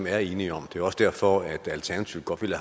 er enige om og det var også derfor alternativet godt ville